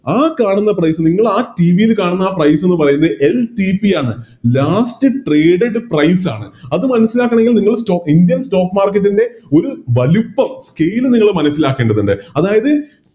ആ കാണുന്ന Price ൽ നിന്നും ആ TV ൽ കാണുന്ന Price എന്ന് പറയുന്നത് LTP ആണ് Last traded price ആണ് അത് മനസ്സിലാക്കാനുള്ള നിങ്ങള് Indian stock market ൻറെ ഒരു വലുപ്പം Chain നിങ്ങള് മനസ്സിലാക്കേണ്ടതുണ്ട് അതായത്